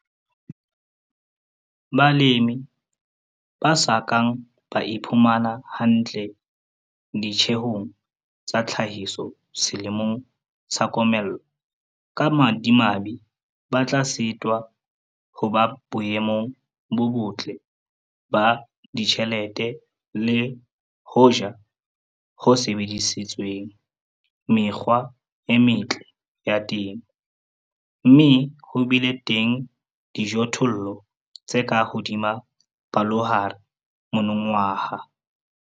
Balemi ba sa kang ba iphumana hantle ditjehong tsa tlhahiso selemong sa komello, ka bomadimabe ba tla sitwa ho ba boemong bo botle ba ditjhelete le hoja ho sebedisitswe mekgwa e metle ya temo, mme ho bile teng dijothollo tse ka hodima palohare monongwaha.